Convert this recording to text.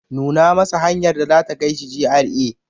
Nuna masa hanyar da za ta kai shi GRA.